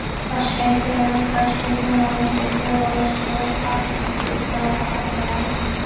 "Toshkent—Termiz—Toshkent" yo‘nalishidagi yo‘lovchi poyezd haftasiga uch marta qatnaydi.